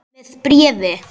Með bréfi.